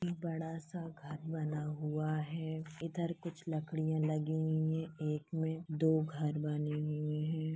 बड़ा सा घर बना हुआ है इधर कुछ लकड़ियां लगी हुई हैं एक मे दो घर बने हुए हैं।